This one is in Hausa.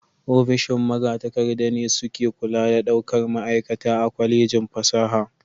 Ofishin magatakarda ne suke kula da daukar ma'aikata a Kwallejin fasaha.